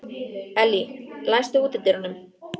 Elly, læstu útidyrunum.